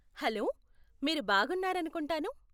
Hello, మీరు బాగున్నారనుకుంటాను.